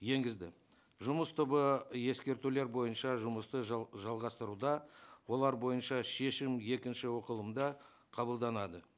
енгізді жұмыс тобы ескертулер бойынша жұмысты жалғастыруда олар бойынша шешім екінші оқылымда қабылданады